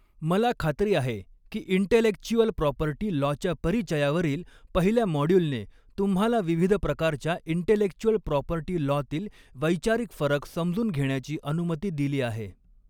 मला खात्री आहे की इंटेलेक्चुअल प्रॉपर्टी लॉच्या परिचयावरील पहिल्या मॉड्यूलने तुम्हाला विविध प्रकारच्या इंटेलेक्चुअल प्रॉपर्टी लॉतील वैचारिक फरक समजून घेण्याची अनुमती दिली आहे.